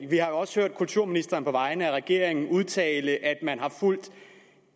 vi har jo også hørt kulturministeren på vegne af regeringen udtale at man har fulgt